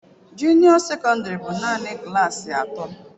Junio secondary bụ naanị klaasị atọ.